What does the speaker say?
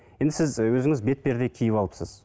енді сіз өзіңіз бетперде киіп алыпсыз